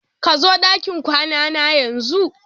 Kazo dakin kwanana yanzu!